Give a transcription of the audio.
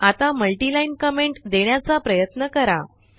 आता multiline comment देण्याचा प्रयत्न करा